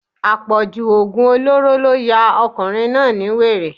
Àpọ̀jù oògùn olóró ló ya ọkùnrin náà ni wèrè